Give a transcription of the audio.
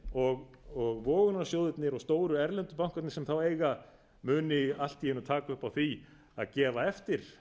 og vogunarsjóðirnir og stóru erlendu bankarnir sem þá eiga muni allt í einu taka upp á því að gefa eftir